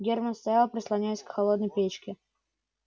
германн стоял прислонясь к холодной печке